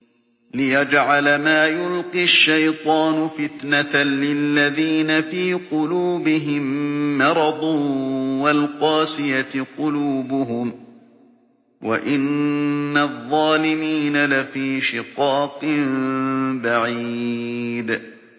لِّيَجْعَلَ مَا يُلْقِي الشَّيْطَانُ فِتْنَةً لِّلَّذِينَ فِي قُلُوبِهِم مَّرَضٌ وَالْقَاسِيَةِ قُلُوبُهُمْ ۗ وَإِنَّ الظَّالِمِينَ لَفِي شِقَاقٍ بَعِيدٍ